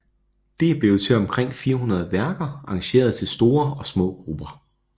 Det er blevet til omkring 400 værker arrangeret til store og små grupper